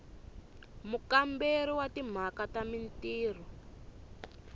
mukamberi wa timhaka ta mintirho